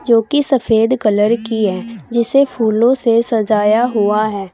जो कि सफेद कलर की है जिसे फूलों से सजाया हुआ है।